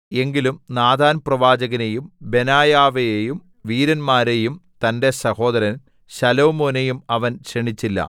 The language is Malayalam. എങ്കിലും നാഥാൻപ്രവാചകനെയും ബെനായാവെയും വീരന്മാരെയും തന്റെ സഹോദരൻ ശലോമോനെയും അവൻ ക്ഷണിച്ചില്ല